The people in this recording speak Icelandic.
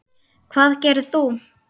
Hvað gerðir þú?